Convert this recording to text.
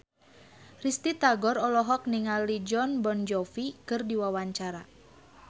Risty Tagor olohok ningali Jon Bon Jovi keur diwawancara